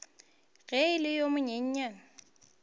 ge e le yo monyenyane